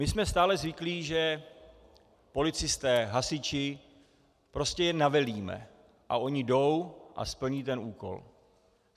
My jsme stále zvyklí, že policisté, hasiči, prostě je navelíme a oni jdou a splní ten úkol.